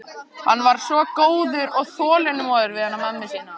Hann var svo góður og þolinmóður við hana mömmu sína.